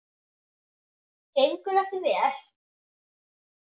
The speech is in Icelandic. Gengur ekki vel?